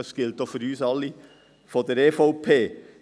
Das gilt auch für uns alle von der EVP.